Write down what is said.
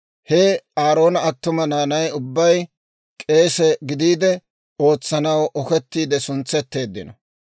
He Aaroona attuma naanay ubbay k'eese gidiide ootsanaw okettiide suntsetteeddino.